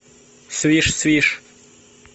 свиш свиш